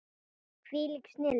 Hvílík snilld!